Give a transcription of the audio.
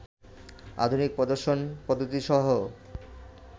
আধুনিক প্রদর্শন পদ্ধতিসহ